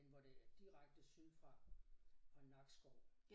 Den hvor det er direkte syd fra for Nakskov